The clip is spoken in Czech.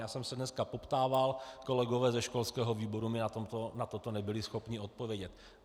Já jsem se dneska poptával, kolegové ze školského výboru mi na to nebyli schopni odpovědět.